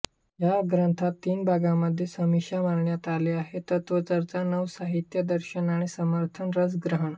या ग्रंथात तीन भागांमध्ये समीक्षा मांडण्यात आली आहे तत्त्वचर्चा नवसाहित्य दर्शन आणि समर्थन रसग्रहण